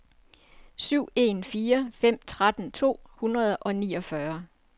syv en fire fem tretten to hundrede og niogfyrre